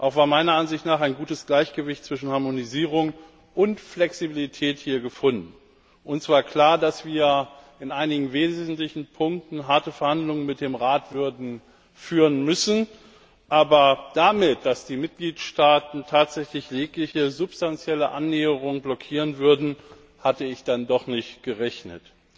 Auch wurde meiner Ansicht nach ein gutes Gleichgewicht zwischen Harmonisierung und Flexibilität gefunden. Uns war klar, dass wir in einigen wesentlichen Punkten harte Verhandlungen mit dem Rat würden führen müssen, aber damit, dass die Mitgliedstaaten tatsächlich jegliche substanzielle Annäherung blockieren würden, hatte ich dann doch nicht gerechnet.